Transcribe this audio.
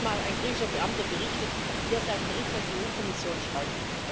Mir hat mal ein griechischer Beamter berichtet, wie er seinen Bericht an die EU Kommission schreibt.